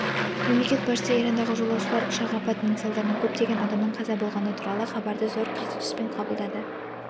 мемлекет басшысы ирандағы жолаушылар ұшағы апатының салдарынан көптеген адамның қаза болғаны туралы хабарды зор күйзеліспен қабылдады